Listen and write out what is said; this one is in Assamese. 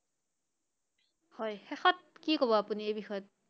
হয়, শেষত কি কব আপুনি এই বিষয়ত?